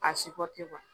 A si pɔte kuwa